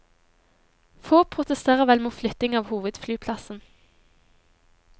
Få protesterer vel mot flytting av hovedflyplassen.